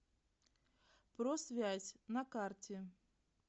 просвязь на карте